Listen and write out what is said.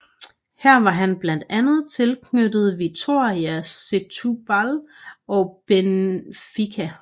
Her var han blandt andet tilknyttet Vitória Setúbal og Benfica